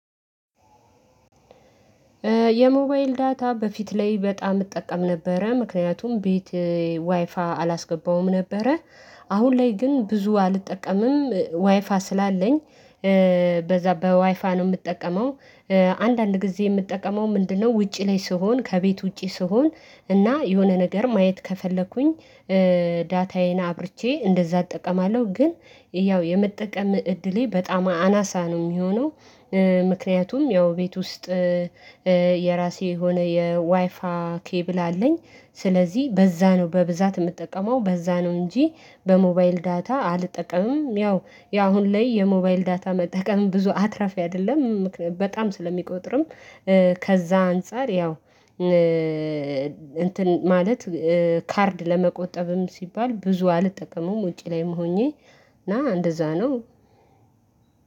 የሞባይል ዳታ በፊት ላይ በጣም እጠቀም ነበረ ምክንያቱም ቤት ዋይፋይ አላስገባሁም ነበረ። አሁን ላይ ግን ብዙ አልጠቀምም ዋይፋይ ስላለኝ በዛ በዋይፋይ ነው የምጠቀመው። አንዳንድ ጊዜ የምጠቀመው ምንድነው ውጪ ላይ ስሆን ከቤት ውጪ ስሆን እና የሆነ ነገር ማየት ከፈለኩኝ ዳታዬን አብርቼ እንደዛ እጠቀማለሁ ግን ያው የመጠቀም እድሌ በጣም አናሳ ነው የሚሆነው። ምክንያቱም ያው ቤት ውስጥ የራሴ የሆነ የዋይፋይ ኬብል አለኝ። ስለዚህ በዛ ነው በብዛት የምትጠቀመው በዛ ነው እንጂ በሞባይል ዳታ አልጠቀምም። ያው ያሁን ላይ የሞባይል ዳታ መጠቀም ብዙ አትራፊ አይደለም በጣም ስለሚቆጥርም። ከዛ አንፃር ያው እንትን ማለት ካርድ ለመቆጠብም ሲባል ብዙ አልጠቀመም ውጪ ላይም ሆኜ እና እንደዛ ነው።